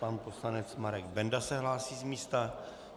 Pan poslanec Marek Benda se hlásí z místa.